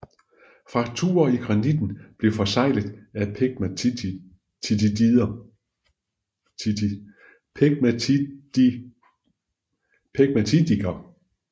Frakturer i granitten blev forseglet af pegmatitdiger